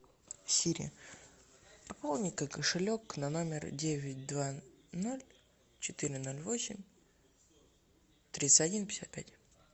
сири пополни ка кошелек на номер девять два ноль четыре ноль восемь тридцать один пятьдесят пять